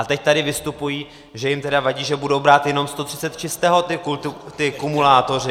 A teď tady vystupují, že jim tedy vadí, že budou brát jenom 130 čistého ti kumulátoři.